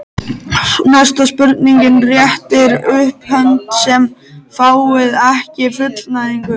Næsta spurning: Réttið upp hönd sem fáið ekki fullnægingu.